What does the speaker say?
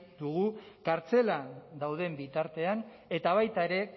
dugu kartzelan dauden bitartean eta baita ere